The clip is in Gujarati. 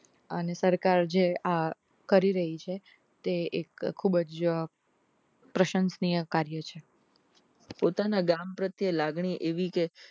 અને સરકાર જે આ કરી રહી છે તે એક ખુબજ પ્રશંસનીય કાર્ય છે પોતાના ગામ પ્રત્યે લાગણી એવી કે